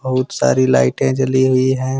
बहुत सारी लाइटें जली हुई है।